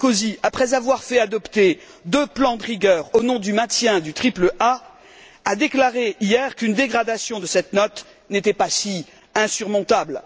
Sarkozy, après avoir fait adopter deux plans de rigueur, au nom du maintien du triple A, a déclaré hier qu'une dégradation de cette note n'était pas si insurmontable.